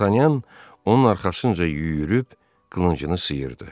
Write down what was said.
D'Artagnan onun arxasınca yüyürüb qılıncını sıyırdı.